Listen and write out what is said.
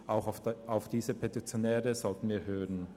Auch auf diese Petitionäre sollten wir hören.